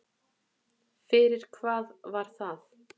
Fyrir hvað var það?